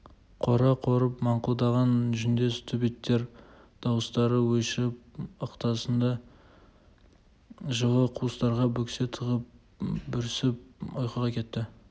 қора қорып маңқылдаған жүндес төбеттер дауыстары өшіп ықтасынды жылы қуыстарға бөксе тығып бүрісіп ұйқыға кетті